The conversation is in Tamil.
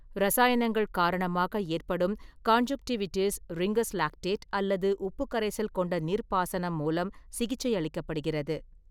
இரசாயனங்கள் காரணமாக ஏற்படும் கான்ஜுன்க்டிவிடிஸ், ரிங்கர்ஸ் லாக்டேட் அல்லது உப்பு கரைசல் கொண்ட நீர்ப்பாசனம் மூலம் சிகிச்சையளிக்கப்படுகிறது.